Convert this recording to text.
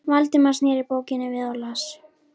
Valdimar sneri bókinni við og las